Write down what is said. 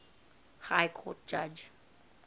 high court judge